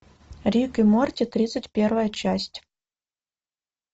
рик и морти тридцать первая часть